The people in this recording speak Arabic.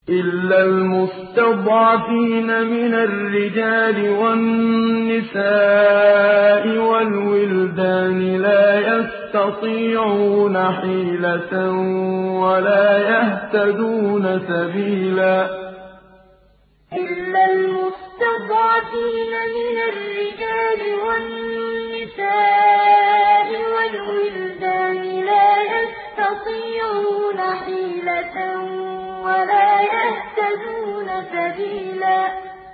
إِلَّا الْمُسْتَضْعَفِينَ مِنَ الرِّجَالِ وَالنِّسَاءِ وَالْوِلْدَانِ لَا يَسْتَطِيعُونَ حِيلَةً وَلَا يَهْتَدُونَ سَبِيلًا إِلَّا الْمُسْتَضْعَفِينَ مِنَ الرِّجَالِ وَالنِّسَاءِ وَالْوِلْدَانِ لَا يَسْتَطِيعُونَ حِيلَةً وَلَا يَهْتَدُونَ سَبِيلًا